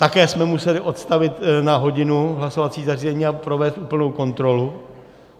Také jsme museli odstavit na hodinu hlasovací zařízení a provést úplnou kontrolu.